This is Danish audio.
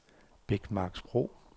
Bækmarksbro